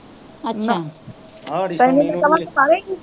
ਅੱਛਾ, ਤੇਨੂੰ ਮੈਂ ਕਹਾਂਗੀ ਮਾਰੇਗੀ